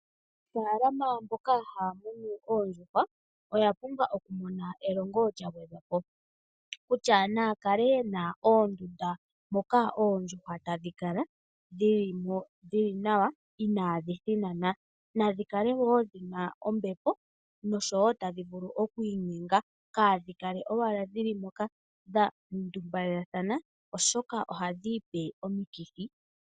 Aanafalama mboka haya munu oondjuhwa oya pumbwa okumona elongo lya gwedhwa po kutya naya kale yena oondunda moka oondjuhwa tadhi kala dhi limo dhili nawa inadhi thinana dho nadhi kale dhina ombepo dho tadhi vulu oku inyenga kadhi kale owala dhili moka dha ndumbalela thana oshoka ohadhi ipe omikithi.